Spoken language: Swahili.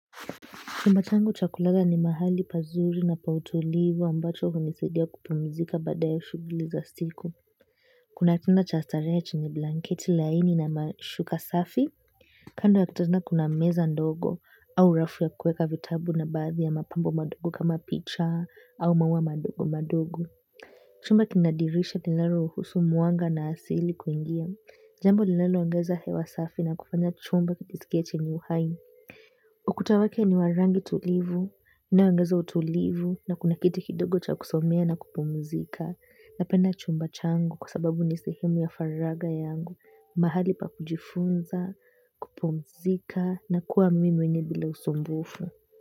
Chumba changu cha kulala ni mahali pazuri na pa utulivu ambacho hunisaidia kupumzika baada ya shughuli za siku. Kuna tena cha starehe chenye blanketi laini na mashuka safi, kando ya kitanda kuna meza ndogo au rafu ya kuweka vitabu na baadhi ya mapambo madogo kama picha au maua madogo madogo. Chumba kina dirisha nilalo ruhusu mwanga na asili kuingia. Jambo nilalo ongeza hewa safi na kufanya chumba kisikie chenye uhai. Ukuta wake ni wa rangi tulivu, unaongeza utulivu na kuna kiti kidogo cha kusomea na kupumzika napenda chumba changu kwa sababu ni sehemu ya faragha yangu mahali pa kujifunza, kupumzika na kuwa mimi mwenyewe bila usumbufu.